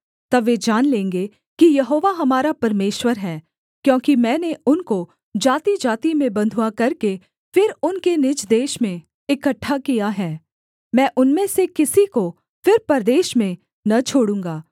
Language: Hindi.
तब वे जान लेंगे कि यहोवा हमारा परमेश्वर है क्योंकि मैंने उनको जातिजाति में बँधुआ करके फिर उनके निज देश में इकट्ठा किया है मैं उनमें से किसी को फिर परदेश में न छोड़ूँगा